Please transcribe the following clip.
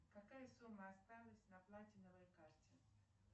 какая сумма осталась на платиновой карте